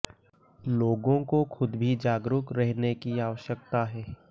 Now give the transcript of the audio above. लोगों को खुद भी जागरूक रहने की आवश्यकता है